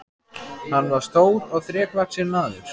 Hann var stór og þrekvaxinn maður.